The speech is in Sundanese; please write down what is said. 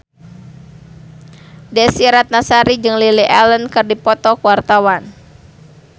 Desy Ratnasari jeung Lily Allen keur dipoto ku wartawan